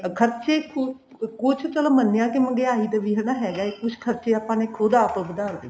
ਖਰਚੇ ਕੁੱਝ ਚਲੋ ਮੰਨਿਆ ਹਨਾ ਮਹਿੰਗਿਆਈ ਦਾ ਵੀ ਹਨਾ ਹੈਗਾ ਕੁੱਝ ਖਰਚੇ ਆਪਾਂ ਨੇ ਖੁਦ ਆਪ ਵਧਾ ਲਏ